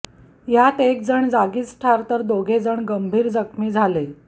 यात एक जण जागीच ठार तर दोघे जण गंभीर जखमी झाले